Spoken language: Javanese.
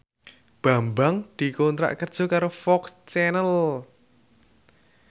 Bambang dikontrak kerja karo FOX Channel